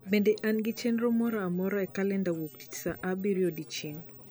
bende an gi chenro moro amora e kalenda wuoktich saa abirio odiechieng